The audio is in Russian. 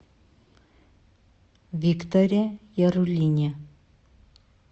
викторе яруллине